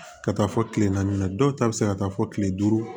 Ka taa fɔ kile naani na dɔw ta bɛ se ka taa fɔ kile duuru